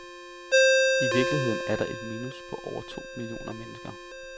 I virkeligheden er der et minus på over to millioner mennesker.